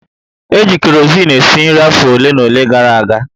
E ji kerosin esi nri afọ ole na ole gara aga